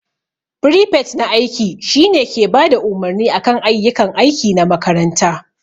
Firifet na aiki shine ke Bada umarni akan ayyukan aiki na makaranta.